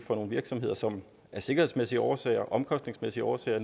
nogle virksomheder som af sikkerhedsmæssige årsager og omkostningsmæssige årsager